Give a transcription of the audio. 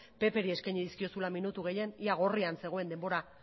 ppri eskaini dizkiozula minutu gehien ia gorrian zegoen denbora